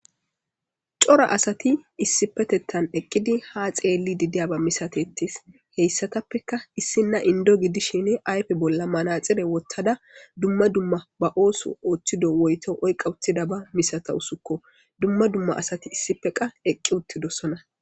Cora asati issipetettan eqqidi haxeelli didiya bamisatettis heyssatappeka issinna indo gidishini aype bolla manaxire wottada dumma dumma ba ooso ooththido woyto oyqa uthida bamisata usukko dumma dumma asati issipe qa eqqi uttidosona.